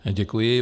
Děkuji.